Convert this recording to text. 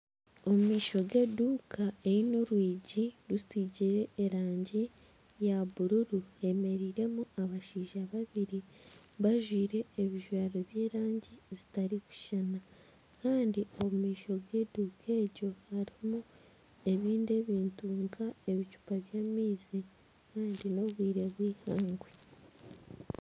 Omu maisho g'eduuka eine orwigi rusigire erangi ya bururu hemereiremu abashaija babiri bajwaire ebijwaro by'erangi zitarikushushana kandi omu maisho g'eduuka egyo harimu ebindi ebintu nka ebicupa by'amaizi kandi n'obwire bw'eihangwe.